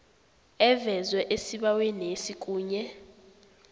evezwe esibawenesi kunye